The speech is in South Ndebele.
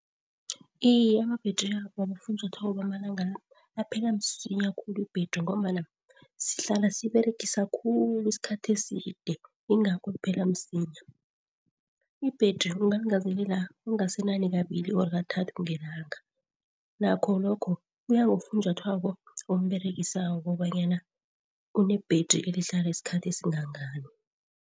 Iye, ama-battery wabofunjathwako bamalangana aphela msinya khulu i-battery ngombana sihlala siberegisa khulu isikhathi eside, yingakho liphela msinya. I-battery ungalingezelela okungasenani kabili or kathathu ngelanga. Nakho lokho kuya ngofunjathwako omberegisa kobanyana une-battery elihlala isikhathi esingangani.